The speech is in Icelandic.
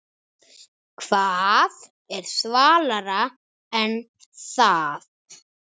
Hvað er svalara en það?